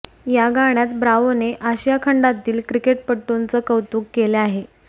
या गाण्यात ब्राव्होने आशिया खंडातील क्रिकेटपटूंचे कौतुक केले आहे